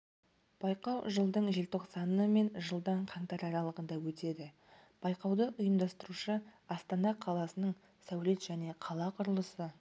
байқау жылдың желтоқсаны мен жылдың қаңтар аралығында өтеді байқауды ұйымдастырушы астана қаласының сәулет және қала құрылысы